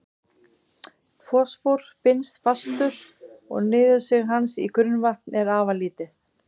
Fosfór binst fastur og niðursig hans í grunnvatn er afar lítið.